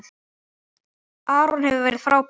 Aron hefur verið frábær.